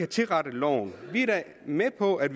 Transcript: tilrettet loven vi er da med på at